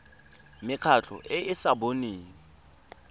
mekgatlho e e sa boneng